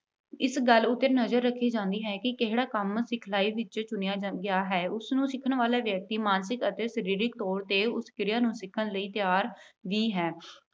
ਇਸ ਗੱਲ ਉੱਤੇ ਨਜ਼ਰ ਰੱਖੀ ਜਾਂਦੀ ਹੈ ਕਿ ਕਿਹੜਾ ਕੰਮ ਸਿਖਲਾਈ ਵਿੱਚ ਚੁਣਿਆ ਜਾਂਦਾ ਅਹ ਗਿਆ ਹੈ। ਉਸਨੂੰ ਸਿੱਖਣ ਵਾਲਾ ਵਿਅਕਤੀ ਮਾਨਸਿਕ ਅਤੇ ਸਰੀਰਕ ਤੌਰ 'ਤੇ ਉਸ ਕਿਰਿਆ ਨੂੰ ਸਿੱਖਣ ਲਈ ਤਿਆਰ ਵੀ ਹੈ।